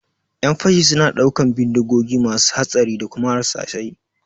ƴan fashi suna ɗaukan bindigogi masu hatsari da kuma harsashai